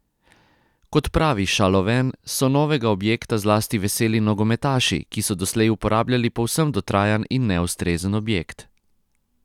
Kot pravi Šaloven, so novega objekta zlasti veseli nogometaši, ki so doslej uporabljali povsem dotrajan in neustrezen objekt.